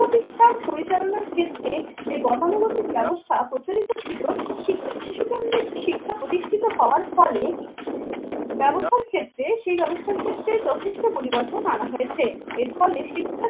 শিক্ষা প্রতিষ্ঠান পরিচালনার ক্ষেত্রে যে গতানুগতিক ব্যবস্থা প্রচলিত ছিল শিশুকাণ্ডের শিক্ষা প্রতিষ্ঠিত হওয়ার ফলে ব্যবস্থার ক্ষেত্রে সেই ব্যবস্থার ক্ষেত্রে যথেষ্ট পরিবর্তন আনা হয়েছে এর ফলে